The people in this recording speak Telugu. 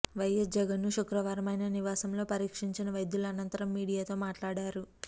వైఎస్ జగన్ను శుక్రవారం ఆయన నివాసంలో పరీక్షించిన వైద్యులు అనంతరం మీడియాతో మాట్లాడారు